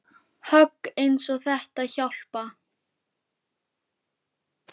Högg eins og þetta hjálpa